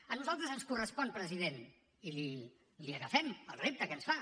a nosaltres ens correspon president i li agafem el repte que ens fa